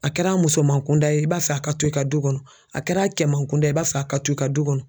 A kɛr'a musoman kunda ye i b'a fɛ a ka to i ka du kɔnɔ, a kɛr'a kɛman kunda ye i b'a fɛ a ka to i ka du kɔnɔ